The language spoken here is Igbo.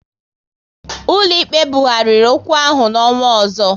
Ụlọ ikpe bughariri okwu ahụ n'ọnwa ọzọ